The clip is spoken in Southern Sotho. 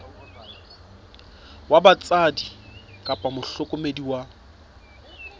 wa batswadi kapa mohlokomedi wa